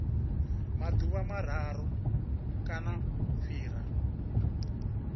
maḓuvha mararu kana u fhira